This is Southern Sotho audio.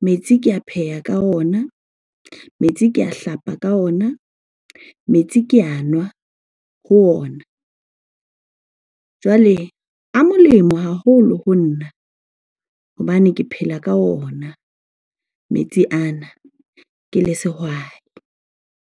Metsi ke a pheha ka ona, metsi ke a hlapa ka ona metsi, ke a nwa ho ona. Jwale a molemo haholo ho nna hobane ke phela ka ona metsi ana ke le sehwai.